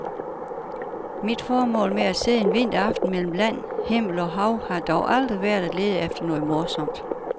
Mit formål med at sidde en vinteraften mellem land, himmel og hav har dog aldrig været at lede efter noget morsomt.